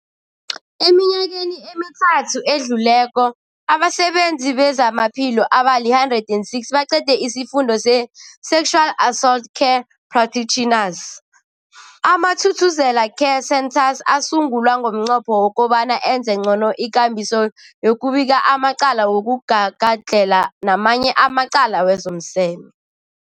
Eminyakeni emithathu edluleko, abasebenzi bezamaphilo abali-106 baqede isiFundo se-Sexual Assault Care Practitioners. AmaThuthuzela Care Centres asungulwa ngomnqopho wokobana enze ngcono ikambiso yokubika amacala wokugagadlhela namanye amacala wezomseme.